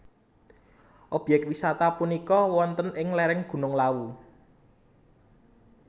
Obyek wisata punika wonten ing lereng Gunung Lawu